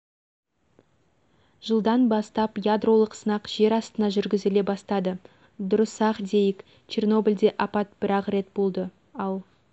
жылдан бастап ядролық сынақ жер астына жүргізіле бастады дұрыс-ақ дейік чернобльде апат бірақ рет болды ал